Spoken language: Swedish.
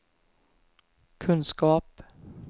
kunskap